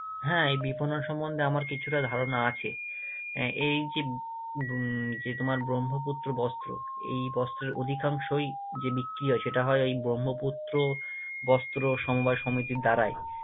হ্যাঁ, এই বিপণন সম্পর্কে আমার কিছুটা ধারণা আছে আহ এই যে উম যে তোমার ব্রহ্মপুত্র বস্ত্র, এই বস্ত্রের অধিকাংশই যে বিক্রি হয়, সেটা হয় ওই ব্রহ্মপুত্র বস্ত্র সমবায় সমিতির দ্বারাই